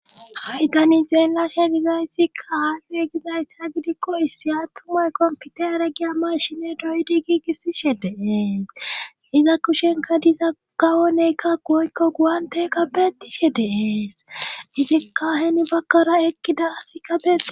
Haydani zeenlashe gizayssi kaafe gizayss ha gidikko issi attumay kompite are giya mashine doydi giigissishe deees iza kushenka diza gawoneykka goykko guwante kabetishe deees izikkaaheni bakkara ekkida asi qabeti.